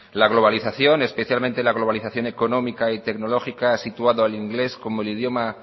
la globalización especialmente la globalización económica y tecnológica ha situado al inglés como el idioma